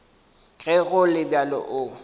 ge go le bjalo o